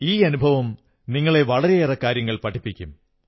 ഈ അനുഭവം നിങ്ങളെ വളരെയേറെ കാര്യങ്ങൾ പഠിപ്പിക്കും